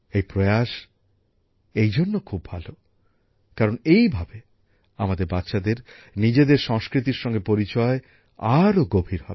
এই প্রয়াস এই জন্য খুব ভালো কারণ এইভাবে আমাদের বাচ্চাদের নিজেদের সংস্কৃতির সঙ্গে পরিচয় আরও গভীর হবে